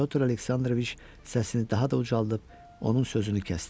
Pyotr Aleksandroviç səsini daha da ucaldıb onun sözünü kəsdi.